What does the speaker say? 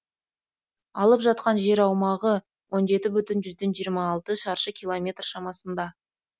алып жатқан жер аумағы он жеті бүтін жиырма алты шаршы километр шамасында